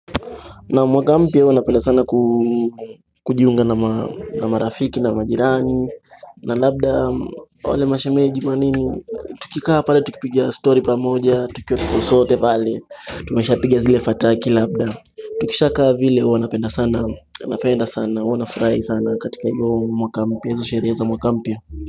Naam mwaka mpya huwa napenda sana kujiunga na marafiki na majirani na labda wale mashemeji manini Tukikaa pale tukipiga story pamoja tukiwa tuko sote pale Tumeshapiga zile fataki labda Tukishakaa vile huwa napenda sana napenda sana huwa nfurahi sana katika hiyo mwaka mpya hizo sherehe za mwaka mpya.